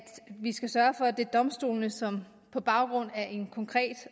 vi skal sørge for at det er domstolene som på baggrund af en konkret